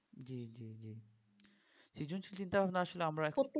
সৃজনশীল চিন্তা ভাবনা আসলে আমরা